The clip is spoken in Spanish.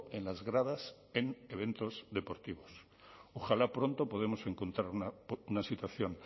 en las gradas en eventos deportivos ojalá pronto podemos encontrar una situación